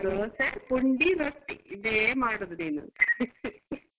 ದೋಸೆ ಪುಂಡಿ ರೊಟ್ಟಿ ಇದೆ ಮಾಡೋದು ನೀನು .